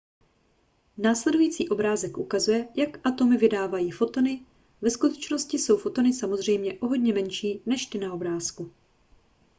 následující obrázek ukazuje jak atomy vydávají fotony ve skutečnosti jsou fotony samozřejmě o hodně menší než ty na obrázku